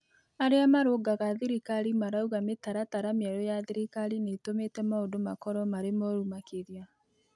Arĩa marũngaga thirikari marauga mĩtaratara mĩerũ ya thirikari nitũmĩte maundũ makorwo marĩ moru makĩria